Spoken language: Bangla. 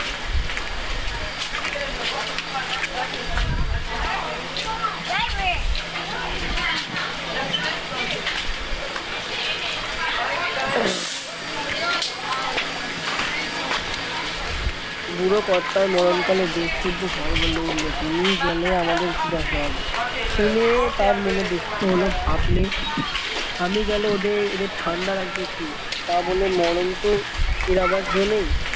বুড়ো কর্তাতমরণ কালে দে শুদ্ধ সবাই বলে উঠলো তুমি গেলে আমাদের কি দশা হবে শুনে তার মনে দুঃখ হলো ভাবলে আমি গেলে ওদের এদের ঠান্ডা রাখবে কে তা বলে মরণ তো এড়াবার জো নেই